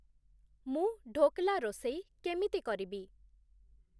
ମୁଁ ଢୋକ୍‌ଲା ରୋଷେଇ କେମିତି କରିବି ?